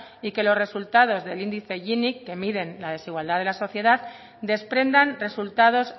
y que los resultados del índice gini que miden la desigualdad de la sociedad desprendan resultados